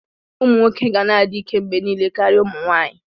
Ụmụ nwoke ga na-adị ike mgbe niile karịa ụmụ nwanyị.